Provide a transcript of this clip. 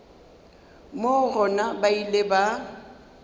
moo gona ba ile ba